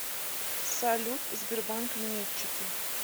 салют сбербанк минетчики